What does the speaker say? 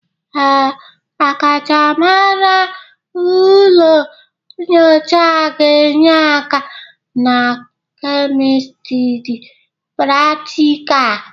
Ee, ọkachamara ụlọ nyocha ga-enye aka na kemistri pratịkal.